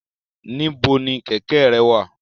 Nibo ni kẹ̀kẹ́ rẹ wa?